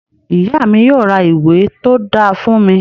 Ìyá mi yóò ra ìwé tó dáa fún mi